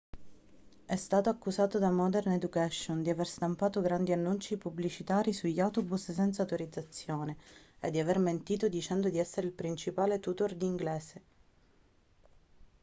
è stato accusato da modern education di aver stampato grandi annunci pubblicitari sugli autobus senza autorizzazione e di aver mentito dicendo di essere il principale tutor di inglese